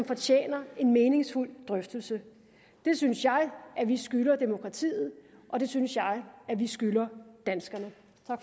fortjener en meningsfuld drøftelse det synes jeg at vi skylder demokratiet og det synes jeg at vi skylder danskerne